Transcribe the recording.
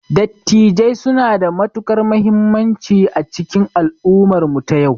Dattijai suna da matukar muhimmanci a cikin al'ummar mu ta yau